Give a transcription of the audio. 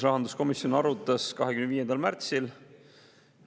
Rahanduskomisjon arutas antud eelnõu 25. märtsil.